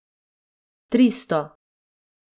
Tristo!